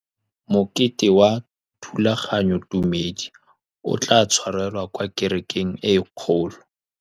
Mokete wa thulaganyôtumêdi o tla tshwarelwa kwa kerekeng e kgolo.